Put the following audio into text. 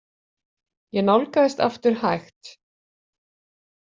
Ég nálgaðist aftur hægt.